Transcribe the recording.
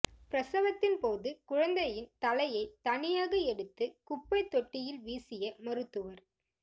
பிரசவத்தின் போது குழந்தையின் தலையை தனியாக எடுத்து குப்பைத் தொட்டியில் வீசிய மருத்துவர்